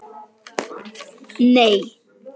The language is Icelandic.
Það hafði einfaldlega ekki hvarflað að mér.